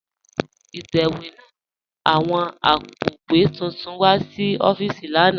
Itẹwẹ̀ náà mú awọn àpó̩wé túntún wa sí òfììsì lànà